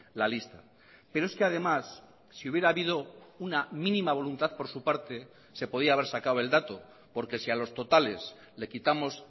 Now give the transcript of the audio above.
la lista pero es que además si hubiera habido una mínima voluntad por su parte se podía haber sacado el dato porque si a los totales le quitamos